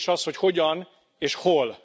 A kérdés az, hogy hogyan és hol.